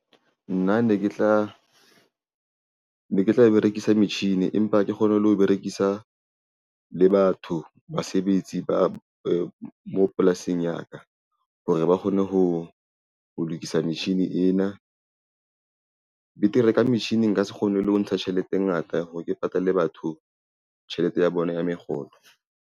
Nna ne ke tla berekisa metjhini empa hake kgone le ho berekisa le batho basebetsi ba mo polasing ya ka hore ba kgone ho lokisa metjhini ena. Betere ka metjhini nka se kgone le ho ntsha tjhelete e ngata hore ke patale batho tjhelete ya bona ya mekgolo.